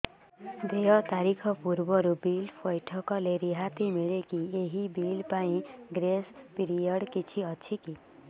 ଦେୟ ତାରିଖ ପୂର୍ବରୁ ବିଲ୍ ପୈଠ କଲେ ରିହାତି ମିଲେକି ଏହି ବିଲ୍ ପାଇଁ ଗ୍ରେସ୍ ପିରିୟଡ଼ କିଛି ଅଛିକି